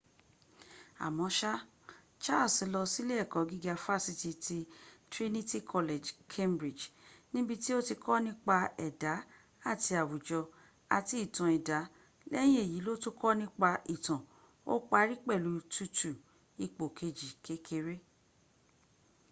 àmọ́ṣá charles lọ silé ẹ̀kọ́ gíga fásitì ní trinity college cambridge níbití ó ti kọ́ nípa ẹ̀dá àti àwùjọ àti ìtàn ẹ̀dà lẹ́yìn èyí ló tún kọ nípa ìtàn ó pari pẹ̀lu 2:2 ipò kejì kékeré